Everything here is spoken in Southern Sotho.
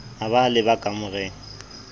a ba a leba kamoreng